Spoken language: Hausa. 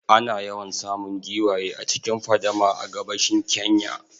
Ana yawan samun giwaye a cikin fadama a gabashin Kenya